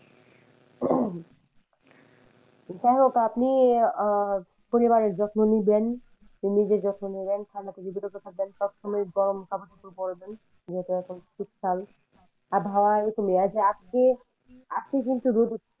যাইহোক আপনি আহ পরিবারের যত্ন নিবেন, নিজের যত্ন নিবেন ঠান্ডা থেকে বিরত থাকবেন সবসময় গরম কাপড় চোপড় পড়বেন যেহেতু এখন শীতকাল আবহাওয়া আজকে আজকে কিন্তু রোদ উঠছে